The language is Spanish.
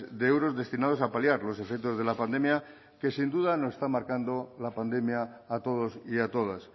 de euros destinados a paliar los efectos de la pandemia que sin duda nos está marcando la pandemia a todos y a todas